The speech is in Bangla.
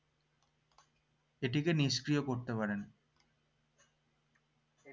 এটিকে নিষ্ক্রিয় করতে পারেন